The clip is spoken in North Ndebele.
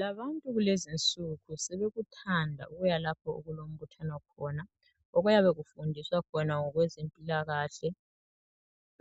Labantu kulezinsuku sebekuthanda ukuya lapho okulombuthano khona, okuyabe kufundiswa khona ngokwezempilakahle,